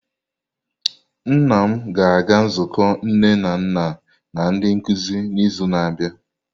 Nna m ga-aga nzukọ nne na nna na ndi nkuzi n'izu na-abịa.